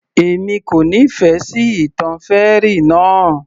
Èmi kò nífẹ̀ẹ́ sí ìtàn fairy náà